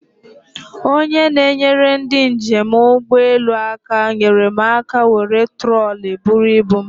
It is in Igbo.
Onye na-enyere ndị njem ụgbọelu aka nyere m aka were troli buru ibu m.